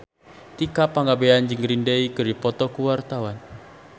Tika Pangabean jeung Green Day keur dipoto ku wartawan